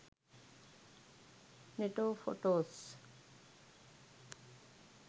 neto photos